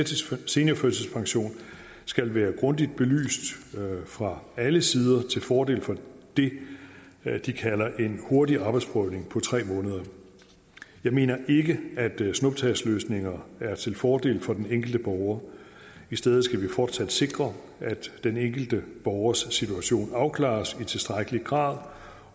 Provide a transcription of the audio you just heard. seniorførtidspension skal være grundigt belyst fra alle sider til fordel for det de kalder en hurtig arbejdsprøvning på tre måneder jeg mener ikke at snuptagsløsninger er til fordel for den enkelte borger i stedet skal vi fortsat sikre at den enkelte borgers situation afklares i tilstrækkelig grad